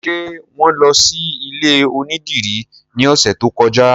Ṣé wọn lọ sí ilé onídìrí ní ọ̀sẹ̀ tó kọjá?